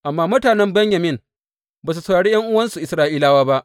Amma mutanen Benyamin ba su saurari ’yan’uwansu Isra’ilawa ba.